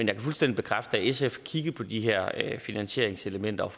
kan fuldstændig bekræfte at sf kiggede på de her finansieringselementer og